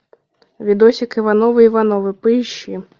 видосик ивановы ивановы поищи